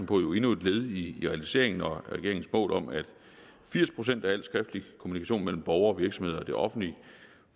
på jo endnu et led i realiseringen af regeringens mål om at firs procent af al skriftlig kommunikation mellem borgere og virksomheder og det offentlige